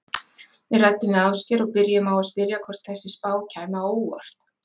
Við ræddum við Ásgeir og byrjuðum á að spyrja hvort þessi spá kæmi á óvart?